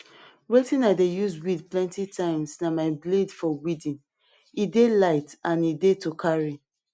wetin i dey use weed plenty times na my blade for weeding e dey light and e dey to carry